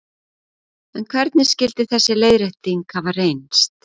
En hvernig skyldi þessi leiðrétting hafa reynst?